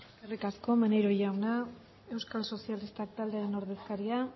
eskerrik asko maneiro jauna euskal sozialistak taldearen ordezkaria